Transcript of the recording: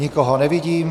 Nikoho nevidím.